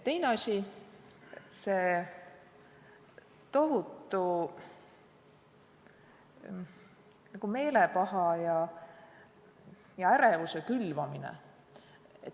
Teine asi puudutab tohutur meelepaha ja ärevuse külvamist.